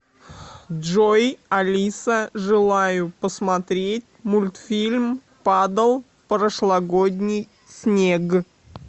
джой алиса желаю посмотреть мультфильм падал прошлогодний снег